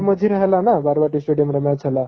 ଏ ମଝିରେ ହେଲା ନା ବାରବାଟୀ stadium ରେ match ହେଲା